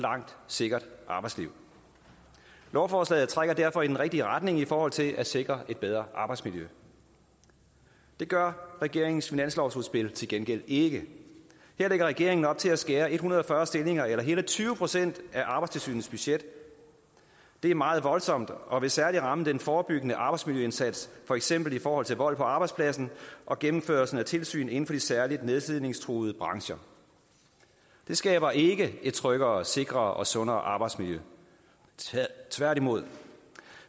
sikkert arbejdsliv lovforslaget trækker derfor i den rigtige retning i forhold til at sikre et bedre arbejdsmiljø det gør regeringens finanslovsudspil til gengæld ikke her lægger regeringen op til at skære en hundrede og fyrre stillinger eller hele tyve procent af arbejdstilsynets budget det er meget voldsomt og vil særlig ramme den forebyggende arbejdsmiljøindsats for eksempel i forhold til vold på arbejdspladsen og gennemførelsen af tilsyn inden for de særligt nedslidningstruede brancher det skaber ikke et tryggere sikrere og sundere arbejdsmiljø tværtimod